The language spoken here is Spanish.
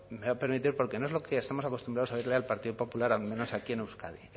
me va a permitir porque no es lo que estamos acostumbrados a oírle al partido popular al menos aquí en euskadi